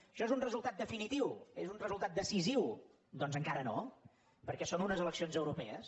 això és un resultat definitiu és un resultat decisiu doncs encara no perquè són unes eleccions euro pees